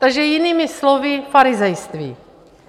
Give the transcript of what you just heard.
Takže jinými slovy, farizejství.